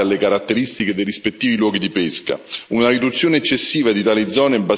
Le flotte locali si sono adattate alle caratteristiche dei rispettivi luoghi di pesca.